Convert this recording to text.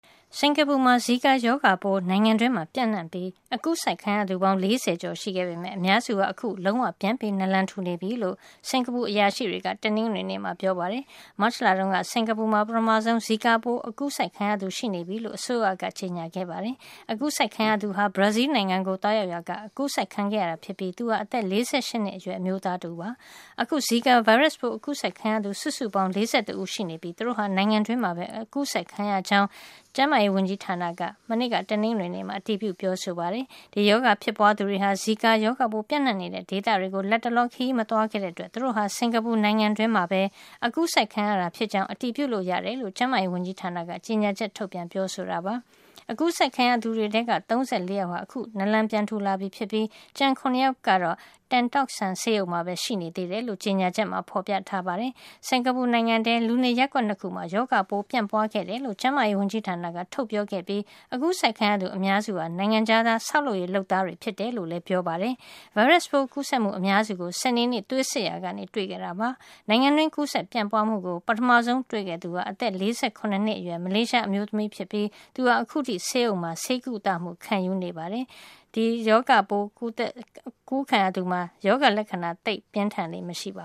စင်္ကာပူမှာ ဇီကာရောဂါပိုး နိုင်ငံတွင်းပျံ့နှံ့ပြီး အကူးစက်ခံရသူပေါင်း ၄၀ ကျော်ရှိခဲ့ပေမယ့် အများစုဟာ အခု လုံးဝ ပြန်နလံထူနေပြီလို့စင်္ကာပူအရာရှိတွေက တနင်္ဂနွေနေ့မှာ ပြောပါတယ်။ မတ်လတုန်းက စင်္ကာပူနိုင်ငံမှာ ပထမဦးဆုံး ဇီကာရောဂါပိုး အကူးစက်ခံရသူ ရှိနေပြီလို့ အစိုးရက ကြေညာခဲ့ပါတယ်။ အကူးစက်ခံရသူဟာ ဘရာဇီးလ် နိုင်ငံကို သွားရောက်ရာက အကူးစက်ခံခဲ့ရတာဖြစ်ပြီး သူဟာ အသက် ၄၈ နှစ် အရွယ် အမျိုးသား တဦးဖြစ်ပါတယ်။ အခု ဇီကာဗိုင်းရပ်စ်ပိုး အကူးစက်ခံရသူ စုစုပေါင်း ၄၁ ဦး ရှိနေပြီး သူတို့ဟာ နိုင်ငံတွင်းမှာပဲ အကူးစက်ခံရကြောင်း ကျန်းမာရေး ဝန်ကြီးဌာနက မနေ့က တနင်္ဂနွေနေ့မှာ အတည်ပြု ပြောဆိုပါတယ်။ ဒီရောဂါဖြစ်ပွားသူတွေဟာ ဇီကာရောဂါပိုး ပျံ့နှံ့နေတဲ့ဒေသတွေကို လတ်တလော ခရီးမသွားခဲ့တဲ့အတွက် သူတို့ဟာ စင်္ကာပူ နိုင်ငံတွင်းမှာပဲ အကူးစက်ခံရတာဖြစ်ကြောင်း အတည်ပြုလို့ ရတယ်လို့ ကျန်းမာရေး ဝန်ကြီးဌာနက ကြေညာချက် ထုတ်ပြန်ပြောဆိုတာပါ။ အကူးစက် ခံရသူတွေထဲက ၃၄ ယောက်ဟာ အခု နလံပြန်ထူလာပြီဖြစ်ပြီး ကျန် ၇ ယောက်ကတော့ Tan Tock Seng ဆေးရုံမှာပဲ ရှိသေးတယ်လို့လည်း ကျေညာချက်မှာ ဖေါ်ပြထားပါတယ်။ စင်္ကာပူနိုင်ငံထဲက လူနေရပ်ကွက် ၂ ခုမှာ ရောဂါပိုး ပျံ့ပွားခဲ့တယ်လို့ ကျန်းမာရေးဝန်ကြီးဌာနက ထုတ်ပြောခဲ့ပြီး အကူးစက် ခံရသူ အများစုဟာ နိုင်ငံခြားသား ဆောက်လုပ်ရေး လုပ်သားတွေ ဖြစ်တယ်လို့လည်း ပြောပါတယ်။ ဗိုင်းရပ်စ်ပိုး ကူးစက်မှု အများစုကို စနေနေ့ သွေးစစ်ရာကနေ တွေ့ခဲ့တာဖြစ်ပါတယ်။ နိုင်ငံတွင်း ကူးစက်ပျံ့ပွါးမှုကို ပထမဆုံးတွေခဲ့သူဟာ အသက် ၄၇ နှစ်အရွယ် မလေးရှားအမျိုးသမီးဖြစ်ပြီး သူဟာ အခုထိ ဆေးရုံမှာ ဆေးကုသမှု ခံယူနေရပါတယ်။ ဇီကာရောဂါပိုးအကူးစက်ခံရသူမှာ ရောဂါလက္ခဏာ သိပ်ပြင်းထန်လေ့မရှိပ